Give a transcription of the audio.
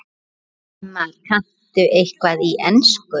Ingimar: Kanntu eitthvað í ensku?